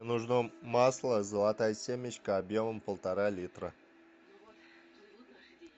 нужно масло золотая семечка объемом полтора литра